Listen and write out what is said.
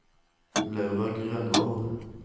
Laura Grønvold